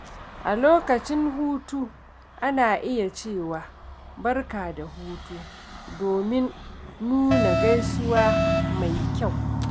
A lokacin hutu, ana iya cewa “Barka da hutu” domin nuna gaisuwa mai kyau.